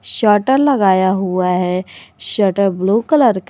shutter लगाया हुआ है शटर ब्लू कलर का--